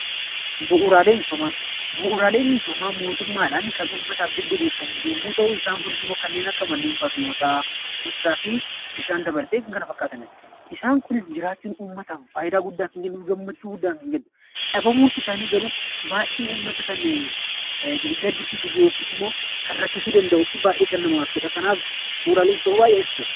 Bu'uuraalee misoomaa Bu'uuraaleen misoomaa mootummaadhaan uummataaf kan diriirfaman yemmuu ta'u, isaan kunis immoo manneen barnootaa, ibsaa fi daandii ta'uu danda'u. Isaan kunis jiraachuun uummataaf fayidaa guddaa kan kennu dhabamuun isaanii garuu baayyinaan gaddisiisuu yookaan immoo kan rakkisuu danda'u fi rakkisaa kan ta'u bu'uuraalee misoomaa jedheetu jira.